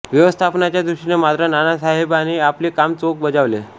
व्यवस्थापनाच्या दृष्टिने मात्र नानासाहेबाने आपले काम चोख बजावले